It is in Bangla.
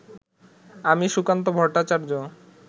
আমি সুকান্ত ভট্টাচার্য